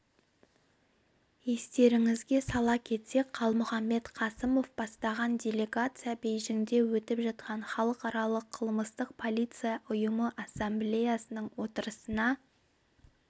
естеріңізге сала кетсек қалмұханбет қасымов бастаған делегация бейжіңде өтіп жатқан халықаралық қылмыстық полиция ұйымы ассамблеясының отырысына